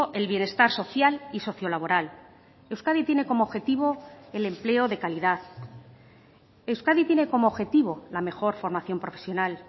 el bienestar social y socio laboral euskadi tiene como objetivo el empleo de calidad euskadi tiene como objetivo la mejor formación profesional